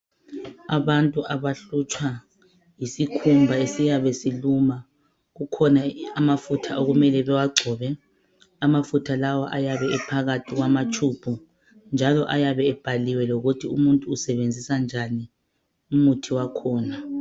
Abantu abahlutshwa yisikhumba esiyabe siluma kukhona amafutha okumele bewagcobe. Amafutha lawa ayabe ephakathi kwamatube njalo ayabe ebhaliwe ukuthi umuntu usebenzisa njani umuthi wakhona.